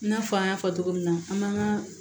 I n'a fɔ an y'a fɔ cogo min na an b'an ka